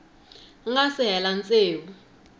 nga si hela tsevu wa